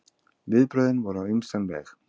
Viðbrögðin voru á ýmsan veg.